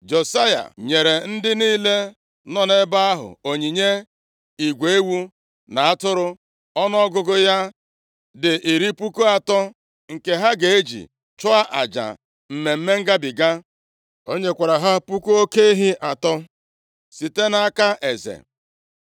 Josaya nyere ndị niile nọ nʼebe ahụ onyinye igwe ewu na atụrụ ọnụọgụgụ ya dị iri puku atọ, nke ha ga-eji chụọ aja Mmemme Ngabiga. O nyekwara ha puku oke ehi atọ site nʼakụ eze.